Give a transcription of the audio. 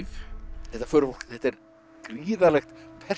þetta förufólk þetta er gríðarlegt